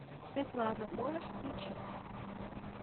светлана можешь включить